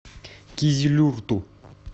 кизилюрту